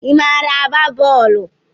Ị maara agba bọọlu?